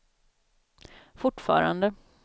fortfarande